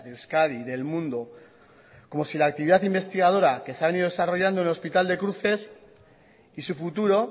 de euskadi del mundo como si la actividad investigadora que se ha venido desarrollando en el hospital de cruces y su futuro